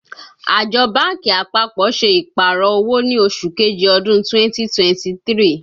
Àjọ báńkì àpapọ̀ ṣe Ìpàrọ̀ owó ní oṣù kejì ọdún 2023